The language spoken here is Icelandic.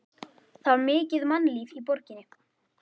Það var mikið mannlíf í borginni.